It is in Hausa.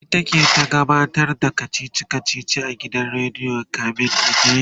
ita ke ta gabatar da kachichi kachichin a gidan rediyo kamin a daina